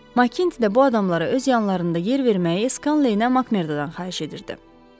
Makginti də bu adamlara öz yanlarında yer verməyə Skanleydən Makmördadan xahiş edirdi.